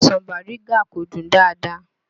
Ọsàn Bàrígá kò dùn dáadáa